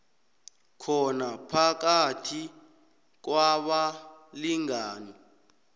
khona phakathi kwabalingani